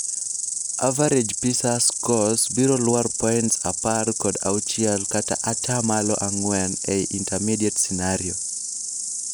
Average PISA scores biro lwar points apar kod auchiel kata ataa malo ang'wen ei intermediate scenario.